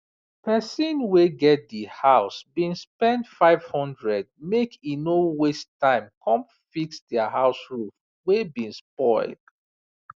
pesin wey get di house bin spend 500 make e no waste time come fix dia house roof wey bin spoil